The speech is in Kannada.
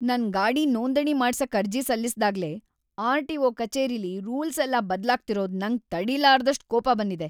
ನನ್ ಗಾಡಿ ನೋಂದಣಿ ಮಾಡ್ಸಕ್ ಅರ್ಜಿ ಸಲ್ಲಿಸ್ದಾಗ್ಲೇ ಆರ್.ಟಿ.ಒ. ಕಚೇರಿಲಿ ರೂಲ್ಸೆಲ್ಲ ಬದ್ಲಾಗ್ತಿರೋದು ನಂಗ್‌ ತಡೀಲಾರ್ದಷ್ಟ್ ಕೋಪ ಬಂದಿದೆ.